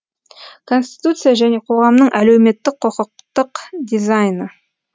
конституция және қоғамның әлеуметтік құқықтық дизайны